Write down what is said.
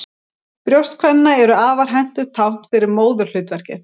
Brjóst kvenna eru afar hentugt tákn fyrir móðurhlutverkið.